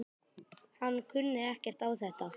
Hann kunni ekkert á þetta.